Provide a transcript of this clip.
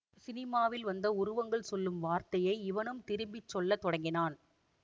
சினிமாவில் வந்த உருவங்கள் சொல்லும் வார்த்தையை இவனும் திருப்பி சொல்ல தொடங்கினான்